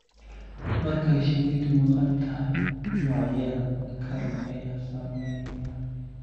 Marka shinnidu maqan tahay, noocyada kale ayaa saameeya.